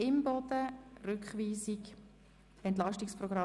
Wir kommen zum Rückweisungsantrag